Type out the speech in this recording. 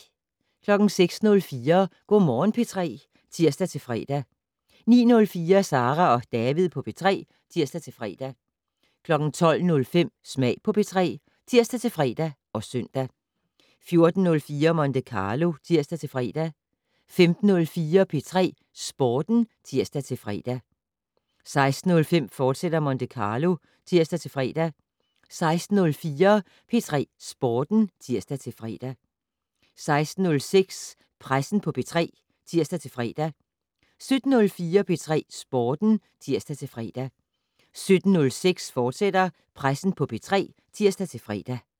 06:04: Go' Morgen P3 (tir-fre) 09:04: Sara og David på P3 (tir-fre) 12:05: Smag på P3 (tir-fre og søn) 14:04: Monte Carlo (tir-fre) 15:04: P3 Sporten (tir-fre) 15:06: Monte Carlo, fortsat (tir-fre) 16:04: P3 Sporten (tir-fre) 16:06: Pressen på P3 (tir-fre) 17:04: P3 Sporten (tir-fre) 17:06: Pressen på P3, fortsat (tir-fre)